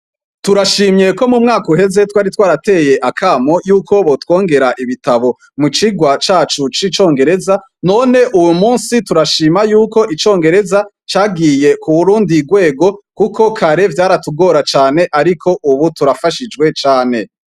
Turashimye ko mu mwaka uheze twari twarateye akamo yuko botwongera ibitabo mu cigwa cacu c'icongereza, none uwu musi turashima yuko, icongereza cagiye ku rundi rwego, kuko kare vyaratugora cane ariko ubu turafashijwe cane.